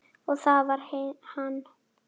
Og það var hann.